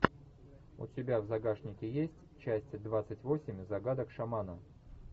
у тебя в загашнике есть часть двадцать восемь загадок шамана